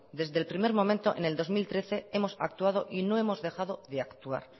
desde el primer momento en el dos mil trece hemos actuado y no hemos dejado de actuar